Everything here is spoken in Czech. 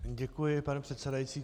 Děkuji, pane předsedající.